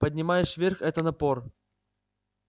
поднимаешь вверх это напор